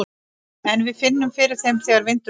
En við finnum fyrir þeim þegar vindur blæs.